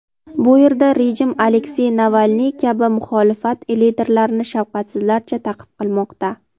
Bu yerda rejim Aleksey Navalniy kabi muxolifat liderlarini shafqatsizlarcha ta’qib qilmoqda.